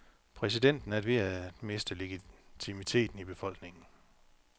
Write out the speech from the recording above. Præsidenten er ved at miste legitimiteten i befolkningen.